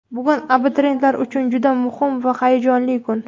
Bugun abituriyentlar uchun juda muhim va hayajonli kun.